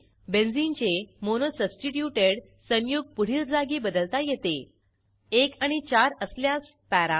बेंझिनचे mono substituted संयुग पुढील जागी बदलता येते 1 आणि 4 असल्यास पारा